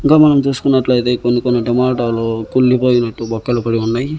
ఇంకా మనం చూసుకునట్లైతే కొన్ని కొన్ని టమాటాలు కుళ్ళి పోయినట్టు బొక్కలు పడి ఉన్నయి.